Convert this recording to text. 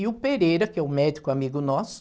E o Pereira, que é o médico amigo nosso,